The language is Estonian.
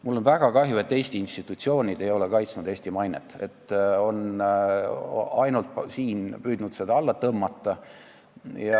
Mul on väga kahju, et Eesti institutsioonid ei ole kaitsnud Eesti mainet, vaid on ainult püüdnud siin seda alla tõmmata.